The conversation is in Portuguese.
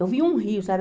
Eu vi um rio, sabe?